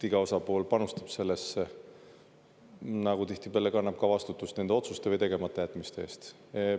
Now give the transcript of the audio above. Iga osapool panustab sellesse, nagu tihtipeale kannab ka vastutust nende otsuste või tegematajätmiste eest.